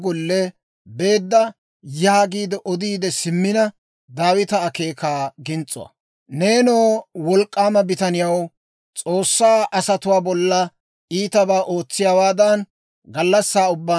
Neenoo, worddobaa haniyaawoo, neeni haratuwaa d'ayissanaw mak'ettaasa. Ne ins's'arssay kuussa mak'k'iliyaa mala.